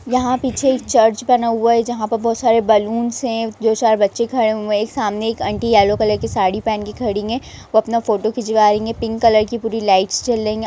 यहाँ पीछे एक चर्च बना हुआ है जहाँ बहुत सारे बैलून हैं कुछ बच्चे खड़े हुए हैं सामने आंटी हैं येलो कलर की साड़ी पहन के खड़ी हैं और अपना फोटो खिंचवा रही हैं पिंक कलर की पूरी लाइटस जल रह हैं।